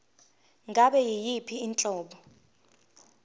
ngabe yiyiphi inhlobo